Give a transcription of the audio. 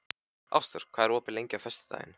Ásdór, hvað er opið lengi á föstudaginn?